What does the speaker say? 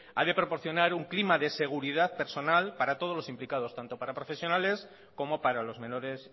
ha de proporcionar un clima de seguridad personal para todos los implicado tanto para profesionales como para los menores